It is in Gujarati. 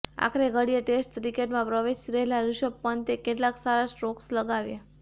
આખરે ઘડીએ ટેસ્ટ ક્રિકેટમાં પ્રવેશી રહેલા ઋષભ પંતે કેટલાક સારા સ્ટ્રોકસ લગાવ્યા